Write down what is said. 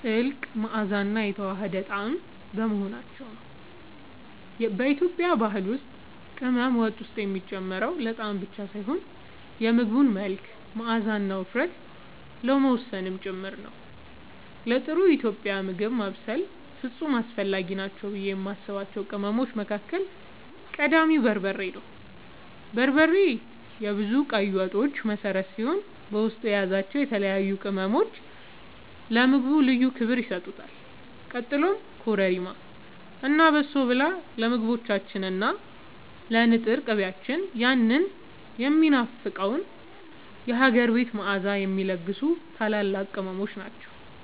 ጥልቅ መዓዛና የተዋሃደ ጣዕም በመሆናቸው ነው። በኢትዮጵያ ባህል ውስጥ ቅመም ወጥ ውስጥ የሚጨመረው ለጣዕም ብቻ ሳይሆን የምግቡን መልክ፣ መዓዛና ውፍረት ለመወሰን ጭምር ነው። ለጥሩ ኢትዮጵያዊ ምግብ ማብሰል ፍጹም አስፈላጊ ናቸው ብዬ የማስባቸው ቅመሞች መካከል ቀዳሚው በርበሬ ነው። በርበሬ የብዙ ቀይ ወጦች መሠረት ሲሆን፣ በውስጡ የያዛቸው የተለያዩ ቅመሞች ለምግቡ ልዩ ክብር ይሰጡታል። ቀጥሎም ኮረሪማ እና በሶብላ ለምግቦቻችን እና ለንጥር ቅቤያችን ያንን የሚናፈቀውን የሀገር ቤት መዓዛ የሚለግሱ ታላላቅ ቅመሞች ናቸው።